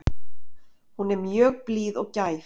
Hún er mjög blíð og gæf.